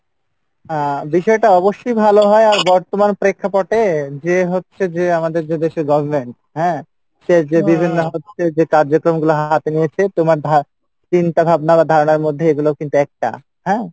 আহ বিষয়টা অবশ্যই ভালো হয় আর বর্তমান প্রেক্ষাপটে যে হচ্ছে যে আমাদের যে দেশে government হ্যাঁ? সে যে বিভিন্ন কার্যক্রম গুলা হাতে নিয়েছে তোমার ধার চিন্তা ভাবনা বা ধারণার মধ্যে এগুলোও কিন্তু একটা, হ্যাঁ?